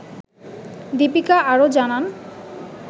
দিপিকা আরও জানান